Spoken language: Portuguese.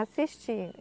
Assistir.